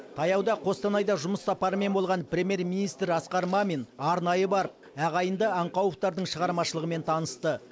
таяуда қостанайда жұмыс сапарымен болған премьер министр асқар мамин арнайы барып ағайынды аңқауовтардың шығармашылығымен танысты